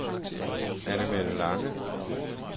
Anne-Mette Lange